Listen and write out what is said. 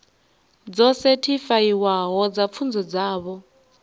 dzo sethifaiwaho dza pfunzo dzavho